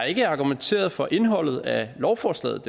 ikke argumenteret for indholdet af lovforslaget